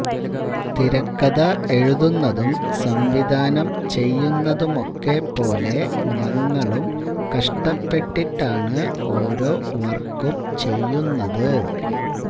തിരക്കഥ എഴുതുന്നതും സംവിധാനം ചെയ്യുന്നതുമൊക്കെ പോലെ ഞങ്ങളും കഷ്ടപ്പെട്ടിട്ടാണ് ഓരോ വര്ക്കും ചെയ്യുന്നത്